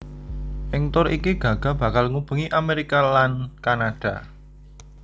Ing tur iki Gaga bakal ngubengi Amerika lan Kanada